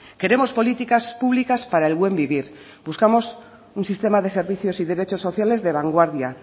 queremos políticas públicas para el buen vivir buscamos un sistema de servicios y derechos sociales de vanguardia